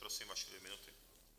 Prosím, vaše dvě minuty.